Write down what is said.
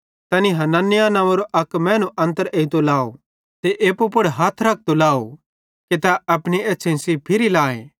तैनी हनन्याह नव्वेंरो अक मैनू अन्तर एइतो लाव ते एप्पू पुड़ हथ रखतो लाहोरोए कि तै अपनी एछ़्छ़ेईं सेइं फिरी लाए